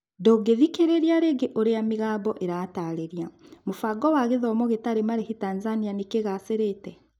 ndungĩthikĩrĩria rĩngĩ ũria mĩgambo ĩratarĩria, mũbango wa gĩthomo gĩtarĩ marĩhi Tanzania kĩgacĩrĩte?